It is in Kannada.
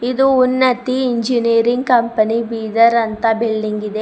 ಇದು ಉನ್ನತಿ ಇಂಜಿನಿಯರಿಂಗ್ ಕಂಪನಿ ಬೀದರ್ ಅಂತ ಬಿಲ್ಡಿಂಗ್ ಇದೆ.